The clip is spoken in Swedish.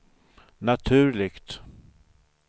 naturligt